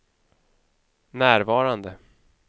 närvarande